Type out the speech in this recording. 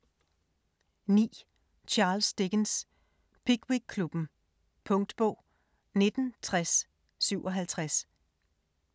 9. Dickens, Charles: Pickwick-klubben Punktbog 196057